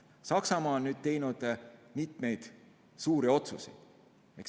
Saksamaa on teinud mitmeid suuri otsuseid.